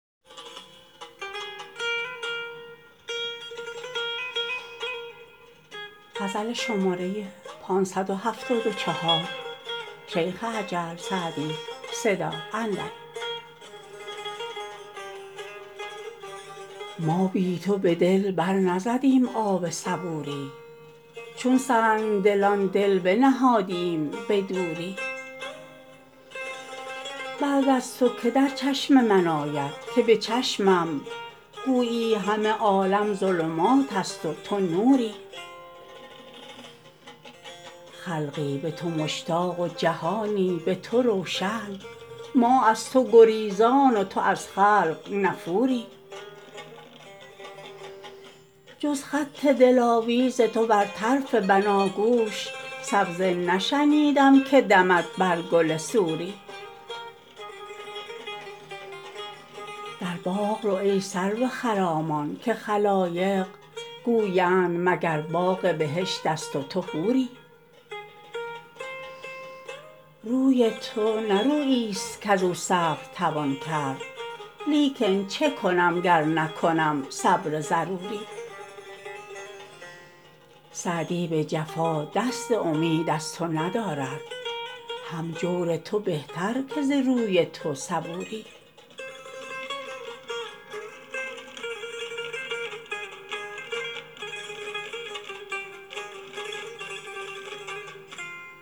ما بی تو به دل بر نزدیم آب صبوری چون سنگدلان دل بنهادیم به دوری بعد از تو که در چشم من آید که به چشمم گویی همه عالم ظلمات است و تو نوری خلقی به تو مشتاق و جهانی به تو روشن ما در تو گریزان و تو از خلق نفوری جز خط دلاویز تو بر طرف بناگوش سبزه نشنیدم که دمد بر گل سوری در باغ رو ای سرو خرامان که خلایق گویند مگر باغ بهشت است و تو حوری روی تو نه روییست کز او صبر توان کرد لیکن چه کنم گر نکنم صبر ضروری سعدی به جفا دست امید از تو ندارد هم جور تو بهتر که ز روی تو صبوری